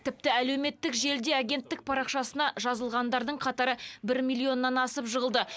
тіпті әлеуметтік желіде агенттік парақшасына жазылғандардың қатары бір миллионнан асып жығылды